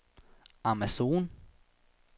Amazon